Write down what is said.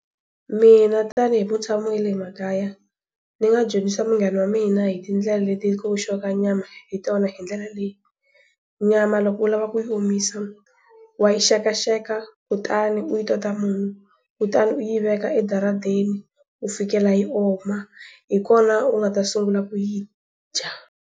Mina tanihi mutshami wa le makaya, ni nga dyondzisa munghana wa mina hi tindlela leti ku oxiwaka nyama, hi tona hi ndlela leyi. Nyama loko u lava ku yi omisa, wa yi xekaxeka, kutani u yi tota munyu, kutani u yi veka edaradeni, ku fikela yi oma. Hi kona u nga ta sungula ku yi dya.